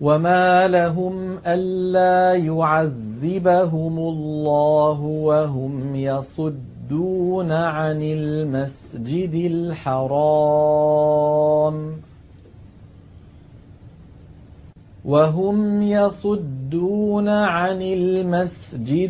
وَمَا لَهُمْ أَلَّا يُعَذِّبَهُمُ اللَّهُ وَهُمْ يَصُدُّونَ عَنِ الْمَسْجِدِ